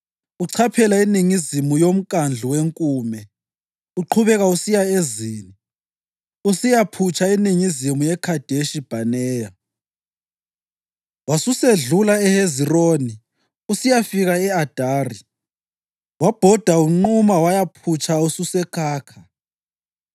uchaphela eningizimu yoMkhandlu weNkume, uqhubeka usiya eZini, usiyaphutsha eningizimu yeKhadeshi Bhaneya. Wasusedlula eHezironi usiyafika e-Adari wabhoda unquma wayaphutsha ususeKhakha.